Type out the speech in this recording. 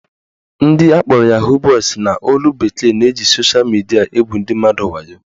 Ndị akpọrọ "Yahoo boys" n'olu bekee na-eji sosha midia egwu ndị mmadụ wayo